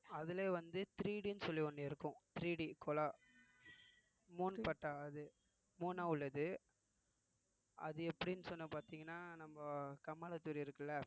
அதிலேயே வந்து 3D ன்னு சொல்லி ஒண்ணு இருக்கும் 3D குழா மூணு பட்டா அது மூணா உள்ளது அது எப்படின்னு சொன்னா பாத்தீங்கன்னா நம்ம இருக்குல்ல